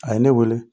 A ye ne wele